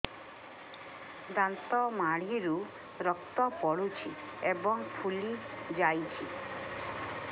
ଦାନ୍ତ ମାଢ଼ିରୁ ରକ୍ତ ପଡୁଛୁ ଏବଂ ଫୁଲି ଯାଇଛି